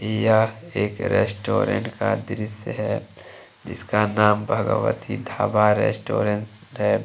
यह एक रेस्टोरेंट का दृश्य है इसका नाम भगवती ढाबा रेस्टोरेंट है।